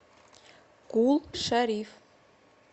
кул шариф